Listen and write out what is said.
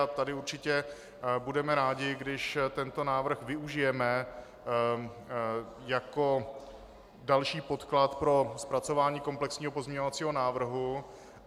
A tady určitě budeme rádi, když tento návrh využijeme jako další podklad pro zpracování komplexního pozměňovacího návrhu.